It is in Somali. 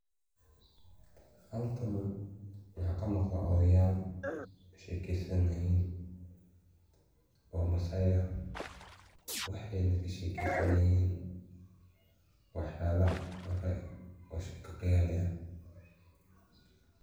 Halkan maxaa ka muuqdaa odhayaal sheekeysanaya oo maasai ah. Waxayna ka sheekeysanayaan waxyaalaha hore oo sheeko khiyaali ah.